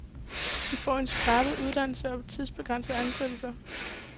De får en skrabet uddannelse og tidsbegrænset ansættelse.